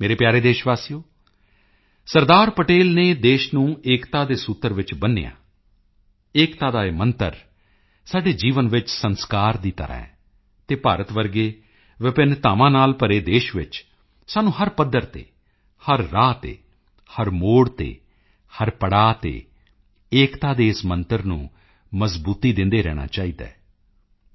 ਮੇਰੇ ਪਿਆਰੇ ਦੇਸ਼ਵਾਸੀਓ ਸਰਦਾਰ ਪਟੇਲ ਨੇ ਦੇਸ਼ ਨੂੰ ਏਕਤਾ ਦੇ ਸੂਤਰ ਵਿੱਚ ਬੰਨ੍ਹਿਆ ਏਕਤਾ ਦਾ ਇਹ ਮੰਤਰ ਸਾਡੇ ਜੀਵਨ ਵਿੱਚ ਸੰਸਕਾਰ ਦੀ ਤਰ੍ਹਾਂ ਹੈ ਅਤੇ ਭਾਰਤ ਵਰਗੇ ਵਿਭਿੰਨਤਾਵਾਂ ਨਾਲ ਭਰੇ ਦੇਸ਼ ਵਿੱਚ ਸਾਨੂੰ ਹਰ ਪੱਧਰ ਤੇ ਹਰ ਰਾਹ ਤੇ ਹਰ ਮੋੜ ਤੇ ਹਰ ਪੜਾਅ ਤੇ ਏਕਤਾ ਦੇ ਇਸ ਮੰਤਰ ਨੂੰ ਮਜ਼ਬੂਤੀ ਦਿੰਦੇ ਰਹਿਣਾ ਚਾਹੀਦਾ ਹੈ